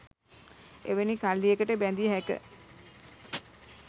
එවැනි කල්ලියකට බැඳිය හැක.